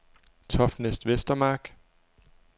Toftnæs Vestermark